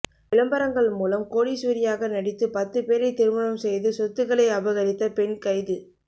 விளம்பரங்கள் மூலம் கோடீஸ்வரியாக நடித்து பத்துப் பேரை திருமணம் செய்து சொத்துக்களை அபகரித்த பெண் கைது